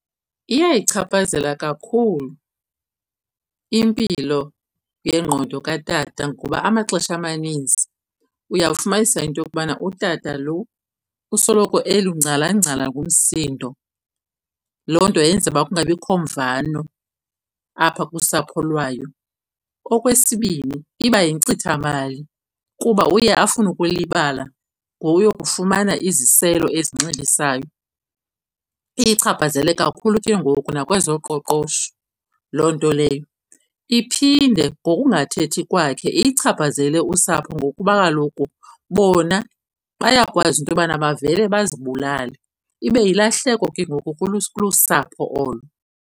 Iyayichaphazela kakhulu impilo yengqondo katata ngoba amaxesha amaninzi uyawufumanisa into yokubana utata lo usoloko elungcalangcala ngumsindo. Loo nto yenza ukuba kungabikho mvano apha kusapho lwayo. Okwesibini, iba yinkcitha mali kuba uye afune ukulibala ngowuyokufumana iziselo ezinxilisayo, iyichaphazele kakhulu ke ngoku nakwezoqoqosho loo nto leyo. Iphinde ngokungathethi kwakhe iyichaphazele usapho, ngokuba kaloku bona bayakwazi into yobana bavele bazibulale ibe yilahleko ke ngoku kulusapho olo.